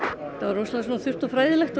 rosalega svona þurrt og fræðilegt